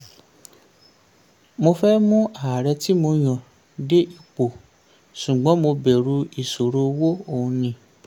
mo fẹ́ mú ààrẹ tí mo yàn dé ipò ṣùgbọ́n mo bẹ̀rù ìṣòro owó" ó ní.